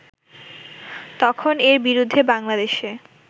তখন এর বিরুদ্ধে বাংলাদেশে